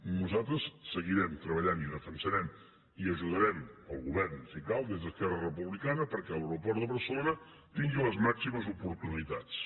nosaltres seguirem treballant i defensarem i ajudarem el govern si cal des d’esquerra republicana perquè l’aeroport de barcelona tingui les màximes oportunitats